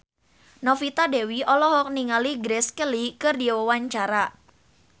Novita Dewi olohok ningali Grace Kelly keur diwawancara